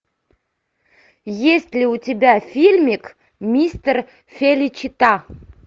есть ли у тебя фильмик мистер феличита